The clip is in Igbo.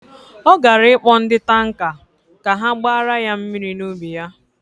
Ọ gara ịkpọ ndị tanka ka ha gbara ya mmiri n'ubi ya.